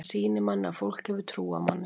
Það sýnir manni að fólk hefur trú á manni.